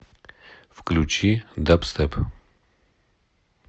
включи дабстеп